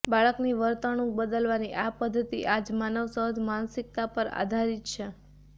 બાળકની વર્તણુંક બદલવાની આ પધ્ધતિ આજ માનવ સહજ માનસિકતા પર આધારિત છે